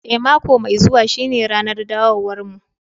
Eh, mako mai zuwa shine ranar dawowarmu